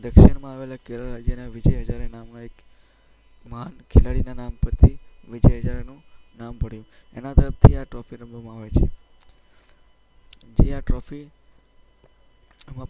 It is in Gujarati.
દક્ષિણમાં આવેલા કેરળ રાજ્યના વિજય હઝારે નામના એક માણ~ખેલાડીના નામ પરથી વિજય હઝારેનું નામ પડ્યું. એના તરફથી આ ટ્રોફી રમવામાં આવે છે જે આ ટ્રોફી